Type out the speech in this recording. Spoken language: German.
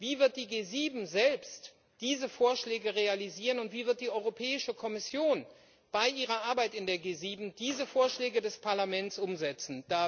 Wie wird die G7 selbst diese Vorschläge realisieren, und wie wird die Europäische Kommission bei ihrer Arbeit in der G7 diese Vorschläge des Parlaments umsetzen?